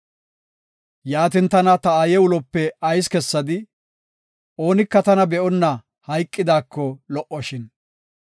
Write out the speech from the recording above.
Yaatin, tana ta aaye ulope ayis kessadii? Oonika tana be7onna hayqidaako taw lo77oshin!